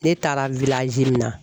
Ne taara min na.